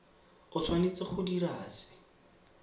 o tshwanetse go dira se